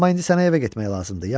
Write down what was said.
Amma indi sənə evə getmək lazımdır.